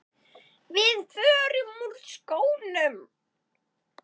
Við förum úr skónum.